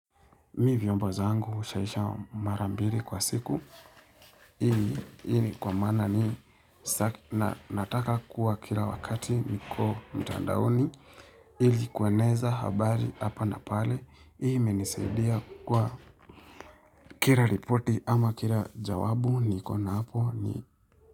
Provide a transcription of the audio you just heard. Mi vyombo zangu ushaisha mara mbili kwa siku. Hii ni kwa maana ni nataka kuwa kila wakati niko mtandaoni. Ili kueneza habari hapa na pale. Hii imenisaidia kuwa kila ripoti ama kila jawabu niko napo.